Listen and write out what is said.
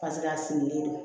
Paseke a sigilen don